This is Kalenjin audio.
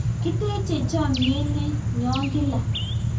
kiteche chamiet ne nyo kila